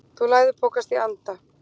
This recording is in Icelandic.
Þú læðupokast í anda.